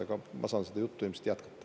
Aga ma saan seda juttu ilmselt jätkata.